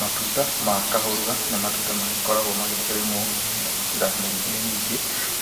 Matunda ma kahũrũra nĩ matunda magĩkoragwa magĩkĩrĩmwo na njĩra nyingĩ nyingĩ,